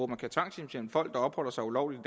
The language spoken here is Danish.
man kan tvangshjemsende folk der opholder sig ulovligt